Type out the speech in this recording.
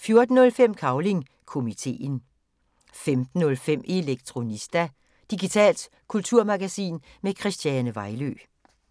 14:05: Cavling Komiteen 15:05: Elektronista – digitalt kulturmagasin med Christiane Vejlø